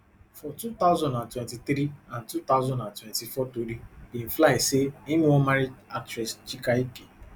for two thousand and twenty-three and two thousand and twenty-four tori bin fly again say im wan marry actress chike ike